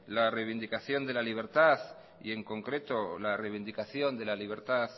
la reivindicación de la libertad y en concreto la reivindicación de la libertad